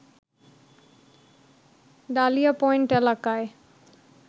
dahlia point এলাকায়